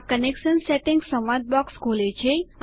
આ connection settings સંવાદ box ખોલે છે